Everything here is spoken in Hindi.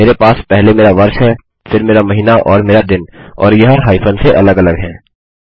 मेरे पास पहले मेरा वर्ष है फिर मेरा महीना और मेरा दिन और यह हाईफन से अलग अलग हैं